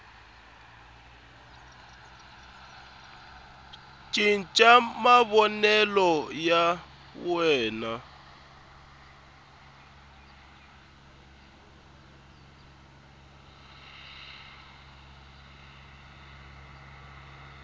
cinca mavonelo na ku xavisa